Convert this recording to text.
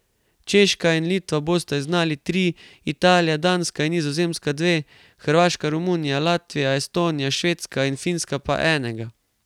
Češka in Litva bosta izgnali tri, Italija, Danska in Nizozemska dve, Hrvaška, Romunija, Latvija, Estonija, Švedska in Finska pa enega.